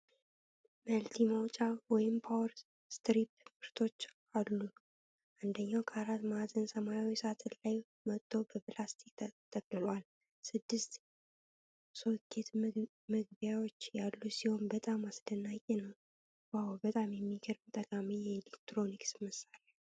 መልቲ መውጫ (ፓወር ስትሪፕ) ምርቶች አሉሉ። አንደኛው ከአራት ማዕዘን ሰማያዊ ሳጥኑ ላይ ወጥቶ በፕላስቲክ ተጠቅልሏል። ስድስት ሶኬት መግቢያዎች ያሉት ሲሆን በጣም አስደናቂ ነው ። "ዋው! በጣም የሚገርም ጠቃሚ የኤሌክትሮኒክስ መሣሪያ።"